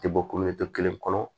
Tɛ bɔ kelen kɔnɔ